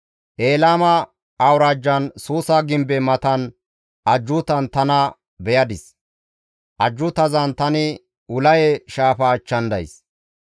Elaama awuraajjan Suusa gimbe matan ajjuutan tana beyadis; ajjuutazan tani Ulaye shaafa achchan days.